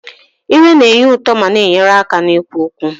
Ire na-enye ụtọ ma na-enyere aka n'ikwu okwu.